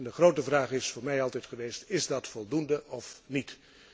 De grote vraag is voor mij altijd geweest is dit voldoende of niet?